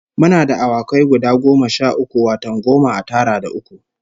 Muna da awakai guda goma sha uku, wato goma a tara da uku